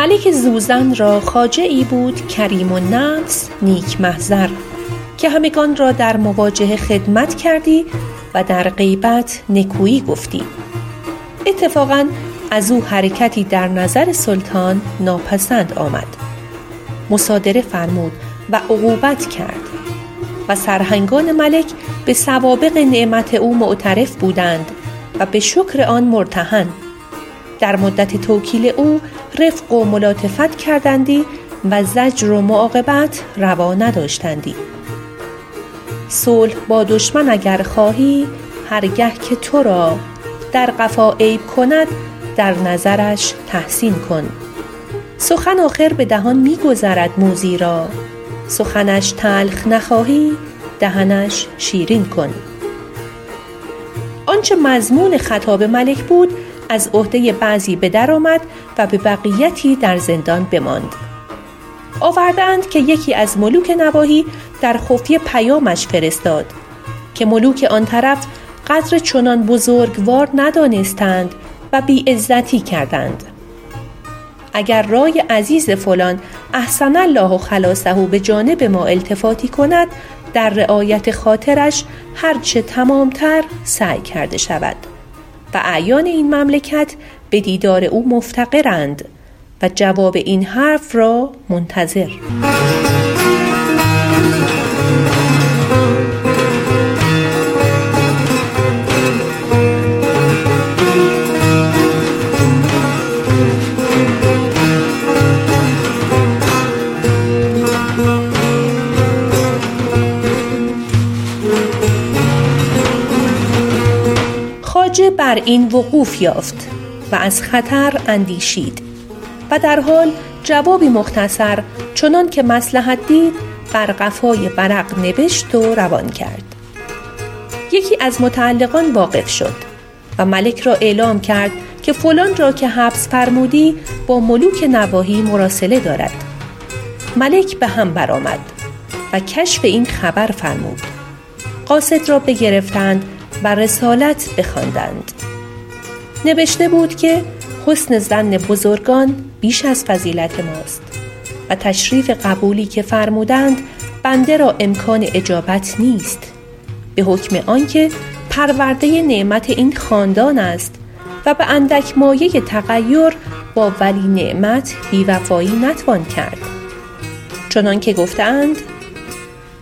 ملک زوزن را خواجه ای بود کریم النفس نیک محضر که همگنان را در مواجهه خدمت کردی و در غیبت نکویی گفتی اتفاقا از او حرکتی در نظر سلطان ناپسند آمد مصادره فرمود و عقوبت کرد و سرهنگان ملک به سوابق نعمت او معترف بودند و به شکر آن مرتهن در مدت توکیل او رفق و ملاطفت کردندی و زجر و معاقبت روا نداشتندی صلح با دشمن اگر خواهی هر گه که تو را در قفا عیب کند در نظرش تحسین کن سخن آخر به دهان می گذرد موذی را سخنش تلخ نخواهی دهنش شیرین کن آنچه مضمون خطاب ملک بود از عهده بعضی به در آمد و به بقیتی در زندان بماند آورده اند که یکی از ملوک نواحی در خفیه پیامش فرستاد که ملوک آن طرف قدر چنان بزرگوار ندانستند و بی عزتی کردند اگر رای عزیز فلان احسن الله خلاصه به جانب ما التفاتی کند در رعایت خاطرش هر چه تمام تر سعی کرده شود و اعیان این مملکت به دیدار او مفتقرند و جواب این حرف را منتظر خواجه بر این وقوف یافت و از خطر اندیشید و در حال جوابی مختصر چنان که مصلحت دید بر قفای ورق نبشت و روان کرد یکی از متعلقان واقف شد و ملک را اعلام کرد که فلان را که حبس فرمودی با ملوک نواحی مراسله دارد ملک به هم برآمد و کشف این خبر فرمود قاصد را بگرفتند و رسالت بخواندند نبشته بود که حسن ظن بزرگان بیش از فضیلت ماست و تشریف قبولی که فرمودند بنده را امکان اجابت نیست به حکم آن که پرورده نعمت این خاندان است و به اندک مایه تغیر با ولی نعمت بی وفایی نتوان کرد چنان که گفته اند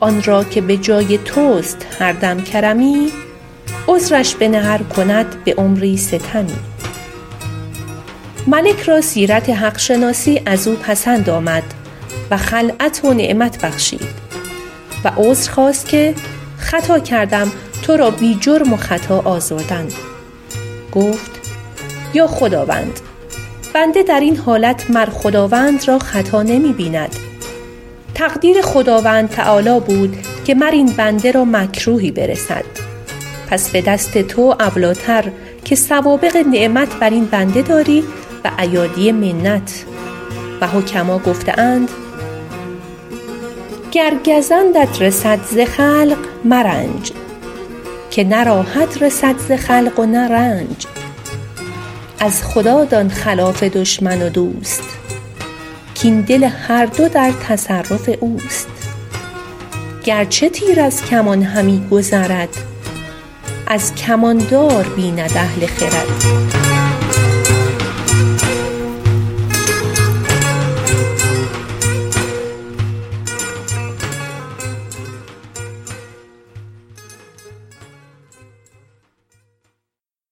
آن را که به جای توست هر دم کرمی عذرش بنه ار کند به عمری ستمی ملک را سیرت حق شناسی از او پسند آمد و خلعت و نعمت بخشید و عذر خواست که خطا کردم تو را بی جرم و خطا آزردن گفت ای خداوند بنده در این حالت مر خداوند را خطا نمی بیند تقدیر خداوند تعالیٰ بود که مر این بنده را مکروهی برسد پس به دست تو اولی ٰتر که سوابق نعمت بر این بنده داری و ایادی منت و حکما گفته اند گر گزندت رسد ز خلق مرنج که نه راحت رسد ز خلق نه رنج از خدا دان خلاف دشمن و دوست کاین دل هر دو در تصرف اوست گرچه تیر از کمان همی گذرد از کمان دار بیند اهل خرد